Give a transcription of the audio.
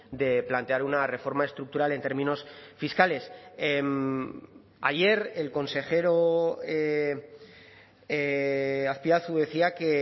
de plantear una reforma estructural en términos fiscales ayer el consejero azpiazu decía que